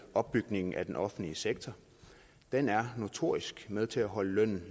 opbygningen af den offentlige sektor den er notorisk med til at holde lønnen